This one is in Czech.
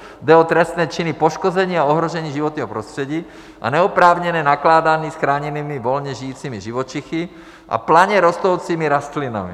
Jde o trestné činy poškození a ohrožení životního prostředí a neoprávněné nakládání s chráněnými volně žijícími živočichy a planě rostoucími rostlinami.